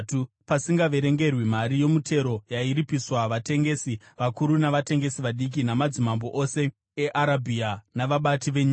pasingaverengerwi mari yomutero yairipiswa vatengesi vakuru navatengesi vadiki, namadzimambo ose eArabhia navabati venyika.